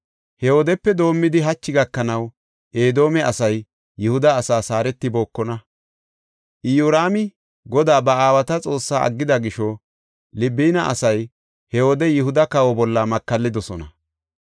He wodepe doomidi hachi gakanaw Edoome asay Yihuda asaas haaretibookona. Iyoraami Godaa, ba aawata Xoossaa aggida gisho Libina asay he wode Yihuda kawa bolla makallidosona.